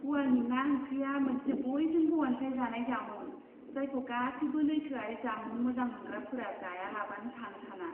ग'वानि ना ओंख्रिया मोनसे बयजोंबो अनसायजानाय जामुं जायखौ गासैबो लैथोआरि जामुं मोजां मोनग्राफोरा जायालाबानो थानो साना।